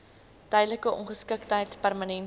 tydelike ongeskiktheid permanente